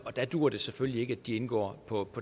der duer det selvfølgelig ikke at de indgår på